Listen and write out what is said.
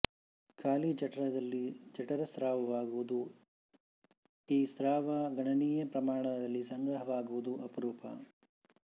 ಖಾಲಿ ಜಠರದಲ್ಲಿ ಜಠರ ಸ್ರಾವವಾಗುವುದೂ ಈ ಸ್ರಾವ ಗಣನೀಯ ಪ್ರಮಾಣದಲ್ಲಿ ಸಂಗ್ರಹವಾಗುವುದೂ ಅಪರೂಪ